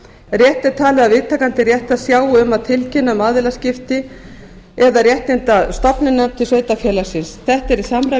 rétt er talið að viðtakandi réttar sjái um að tilkynna um aðilaskiptin eða réttindastofnunina til sveitarfélagsins þetta er í samræmi